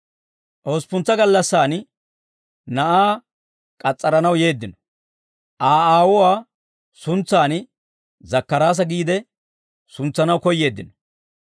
Hosppuntsa gallassaan na'aa k'as's'aranaw yeeddino; Aa, aawuwaa suntsaan Zakkaraasa giide suntsanaw koyyeeddino.